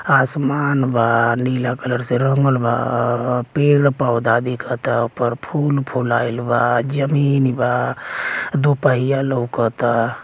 आसमान बा नीला कलर से रंगल बा पेड़-पौधा दिखता ओपर। फूल फुलाइल बा जमीनी बा। दू पहिया लउकता।